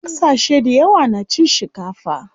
Ƙasashe dayawa na cin shikafa.